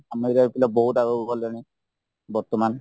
ଆମ area ର ପିଲା ବହୁତ ଆଗକୁ ଗଲେଣି ବର୍ତ୍ତମାନ